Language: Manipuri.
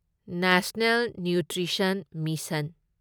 national nutrition mission